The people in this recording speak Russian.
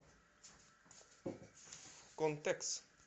контекс